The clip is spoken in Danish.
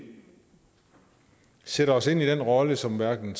sætter os ind i den rolle som hverken